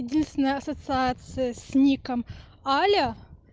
единственая ассоциация с ником аля